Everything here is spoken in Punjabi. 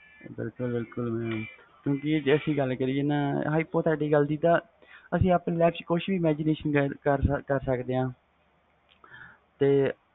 ਬਿਲਕੁਲ ਬਿਲਕੁਲ ਜੇ ਅਸੀਂ ਗੱਲ ਕਰੀਏ hypothetical ਦੀ ਅਸੀਂ ਆਪਣੀ life ਚ ਕੁਛ ਵੀ imagetion ਕਰ ਸਕਦੇ ਵ